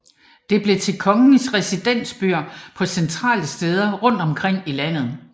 Det blev til kongens residensbyer på centrale steder rundt omkring i landet